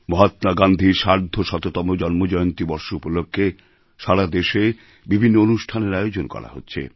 মহাত্মা গান্ধীর সার্ধশততম জন্মজয়ন্তী বর্ষ উপলক্ষে সারা দেশে বিভিন্ন অনুষ্ঠানের আয়োজন করা হচ্ছে